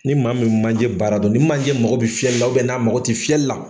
Ni ma min bɛ manje baara dɔn, ni manje mako bɛ fiyɛli la n'a mako tɛ fiyɛli la.